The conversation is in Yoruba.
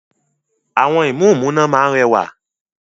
Àwọn ìmúǹmúná máa ń rẹwà.